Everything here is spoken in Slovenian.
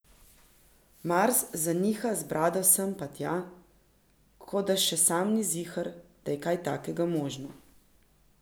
Mars zaniha z brado sem pa tja, ko da še sam ni ziher, da je kaj takega možno.